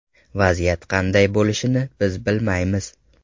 Vaziyat qanday bo‘lishini biz bilmaymiz.